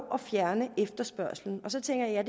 at fjerne efterspørgslen og så tænker jeg